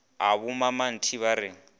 a bommammati na ba re